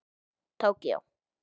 Tókíó